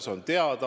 See on teada.